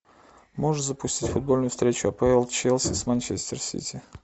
можешь запустить футбольную встречу апл челси с манчестер сити